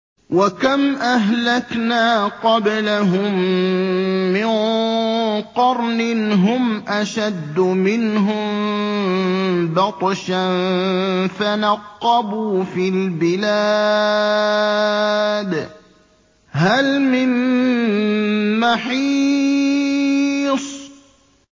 وَكَمْ أَهْلَكْنَا قَبْلَهُم مِّن قَرْنٍ هُمْ أَشَدُّ مِنْهُم بَطْشًا فَنَقَّبُوا فِي الْبِلَادِ هَلْ مِن مَّحِيصٍ